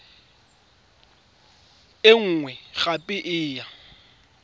e nngwe gape e ya